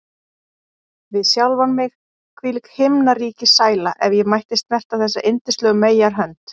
Við sjálfan mig: Hvílík himnaríkissæla, ef ég mætti snerta þessa yndislegu meyjarhönd!